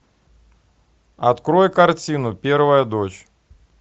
открой картину первая дочь